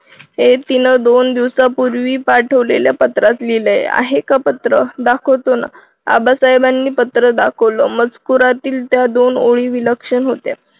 ते दोन दिवसापूर्वी पाठवलेल्या पत्रात लिहिले आहे आहे का पत्र दाखवत जाणार आबासाहेबांनी पत्र दाखवलं मजकुरातील त्या दोन ओळी विलक्षण होत्या.